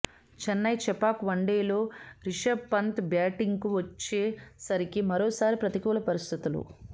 చెన్నై చెపాక్ వన్డేలో రిషబ్ పంత్ బ్యాటింగ్కు వచ్చే సరికి మరోసారి ప్రతికూల పరిస్థితులు